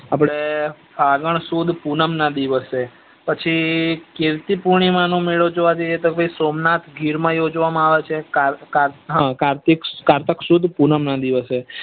આપડે ફાગણ સુદ પૂનમ ના દિવસે પછી કીર્તિ પુનીમાં નો મેળો જોવા જઈએ તો સોમનાથ ગીર માં યોજવાય માં આવે છે કારતક સુદ પુનમ ના દિવસે